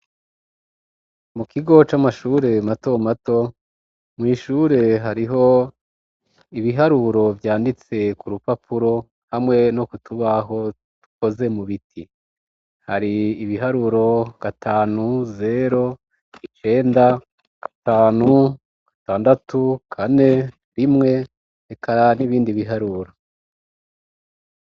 Mu kigo c'amashure mato mato, mwishure hariho ibiharuro vyanditse ku rupapuro hamwe no kutubaho dukoze mu biti, hari ibiharuro gatanu zero icenda gatanu gatandatu kane rimwe eka n'ibindi biharuro.